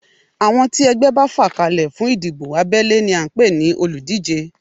Àwọn tí ẹgbẹ́ bá fà kalẹ̀ fún ìdìbò abẹ́lé ni à ń pè ní olùdíje